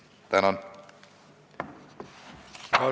Tänan!